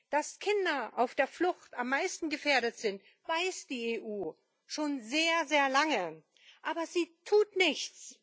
Dass Kinder auf der Flucht am meisten gefährdet sind, weiß die EU schon sehr lange, aber sie tut nichts!